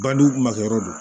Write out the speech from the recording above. Badu makɛ yɔrɔ do